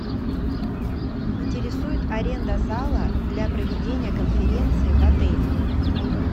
интересует аренда зала для проведения конференции в отеле